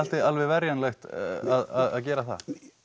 alveg verjanlegt að gera það